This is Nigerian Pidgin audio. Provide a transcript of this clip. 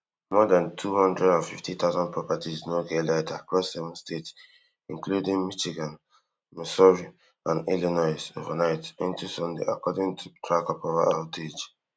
more dan two hundred and fifty thousand properties no get light across seven states including michigan missouri and illinois overnight into sunday according to tracker power outage